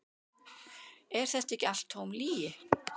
Er þetta ekki allt tóm lygi?